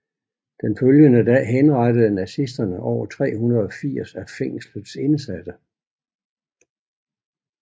Den følgende dag henrettede nazisterne over 380 af fængslets indsatte